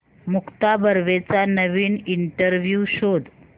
मुक्ता बर्वेचा नवीन इंटरव्ह्यु शोध